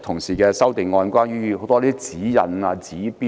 社會實在存有過多指引及指標。